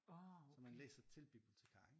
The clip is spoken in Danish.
Så man læser til bibliotikar ikke